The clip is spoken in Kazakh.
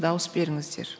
дауыс беріңіздер